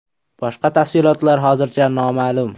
Boshqa tafsilotlar hozircha noma’lum.